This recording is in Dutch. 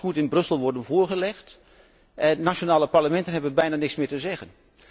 Alles moet in Brussel worden voorgelegd en de nationale parlementen hebben bijna niets meer te zeggen.